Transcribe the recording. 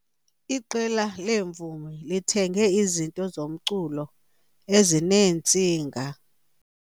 Iqela leemvumi lithenge izinto zomculo ezineentsinga.